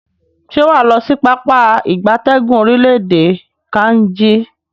Se waa lo si Pápá ìgbatẹ́gùn orile-ede Kainji?